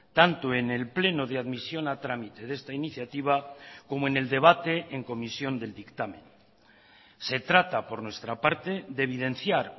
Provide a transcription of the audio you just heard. tanto en el pleno de admisión a trámite de esta iniciativa como en el debate en comisión del dictamen se trata por nuestra parte de evidenciar